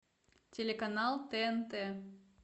телеканал тнт